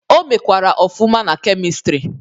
O mekwara ọfụma na Kemịstrị.